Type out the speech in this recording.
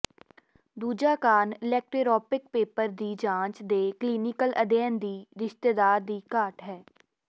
ਦੂਜਾ ਕਾਰਨ ਇਲੈਕਟੈਰਾੈੱਪਿਕ ਪੇਪਰ ਦੀ ਜਾਂਚ ਦੇ ਕਲੀਨਿਕਲ ਅਧਿਐਨ ਦੀ ਰਿਸ਼ਤੇਦਾਰ ਦੀ ਘਾਟ ਹੈ